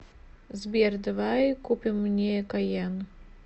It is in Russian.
сбер давай купим мне кайен